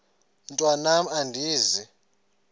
mntwan am andizi